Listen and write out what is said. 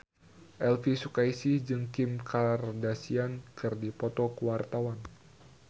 Elvy Sukaesih jeung Kim Kardashian keur dipoto ku wartawan